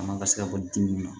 A man ka se ka bɔ dimi ma